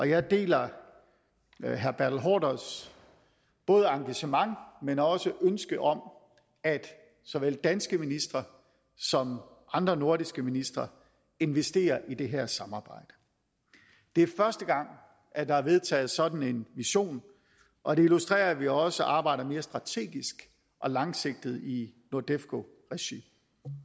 jeg deler herre bertel haarders både engagement men også ønske om at såvel danske ministre som andre nordiske ministre investerer i det her samarbejde det er første gang at der er vedtaget sådan en vision og det illustrerer at vi også arbejder mere strategisk og langsigtet i nordefco regi